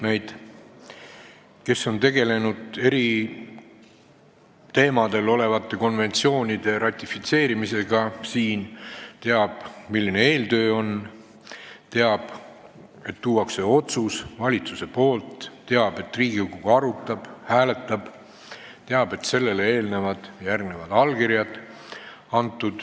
Need, kes on siin tegelenud eriteemaliste konventsioonide ratifitseerimisega, teavad, milline on eeltöö, teavad, et valitsus toob siia otsuse, teavad, et Riigikogu arutab ja hääletab, teavad, et sellele eelnevad ja järgnevad allkirjad.